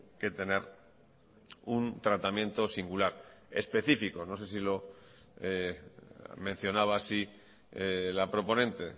que tener un tratamiento singular específico no sé si lo mencionaba así la proponente